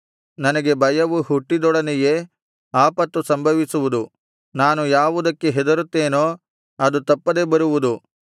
ನನಗೆ ಭಯವು ಹುಟ್ಟಿದೊಡನೆಯೇ ಆಪತ್ತು ಸಂಭವಿಸುವುದು ನಾನು ಯಾವುದಕ್ಕೆ ಹೆದರುತ್ತೇನೋ ಅದು ತಪ್ಪದೆ ಬರುವುದು